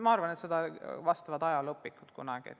Ma arvan, et sellele vastavad kunagi ajalooõpikud.